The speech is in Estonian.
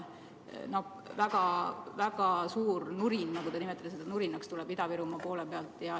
No väga suur nurin tuleb Ida-Virumaa poole pealt.